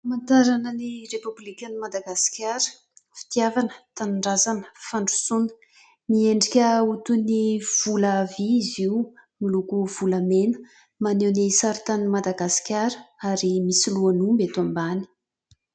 Famantarana ny Repoblikan'i Madagasikara. Fitiavana-tanindrazana-fandrosoana. Miendrika ho toy ny vola vy izy io miloko volamena maneho ny sary tanin'i Madagasikara ary misy lohan'omby eto ambany.